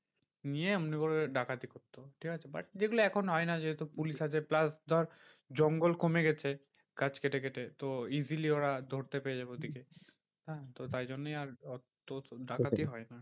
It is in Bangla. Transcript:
নিয়ে এমনি করে ডাকাতি করতো। ঠিকাছে but যেগুলো এখন হয় না যেহেতু পুলিশ আছে plus ধর জঙ্গল কমে গেছে গাছ কেটে কেটে। তো easily ওরা ধরতে পেরে যাবে ওদিকে। হ্যাঁ তো তাই জন্যেই আর ওতো ডাকাতি হয় না।